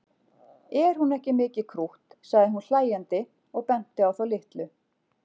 Er hún ekki mikið krútt sagði hún hlæjandi og benti á þá litlu.